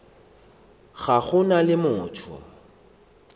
ga go na le motho